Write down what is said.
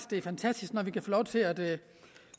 det er fantastisk når vi kan få lov til at